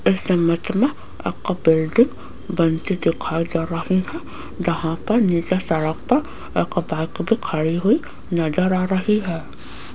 इस इमेज मे एक बिल्डिंग बनती दिखाई दे रही है जहा पर नीचे सड़क पर एक बाइक भी खड़ी हुई नजर आ रही है।